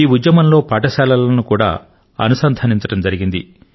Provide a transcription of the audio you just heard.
ఈ ఉద్యమంలో పాఠశాలలను కూడా అనుసంధానించడమైంది